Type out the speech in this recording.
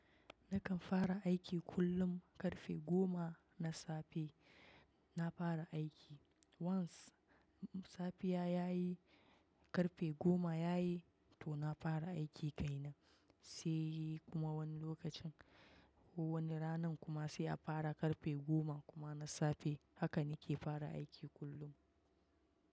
Nakan fara aiki kullum karfe goma na safe na fara aiki. Once safiya yayi karfe goma yayi to na fara aiki ke nan. Sai kuma wani lokacin wani ranan kuma sai a fara karfe goma kuma na safe. Haka nake fara aiki kullun.